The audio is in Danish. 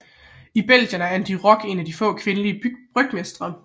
I Belgien er An de Ryck en af de få kvindelige brygmestre